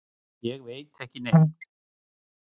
Ég veit ekki neitt.